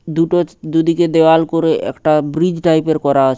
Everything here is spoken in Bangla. দুটো দুদিকে দেয়াল করে একটা ব্রীজ টাইপ -এর করা আছে।